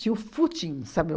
Tinha o footing, sabe?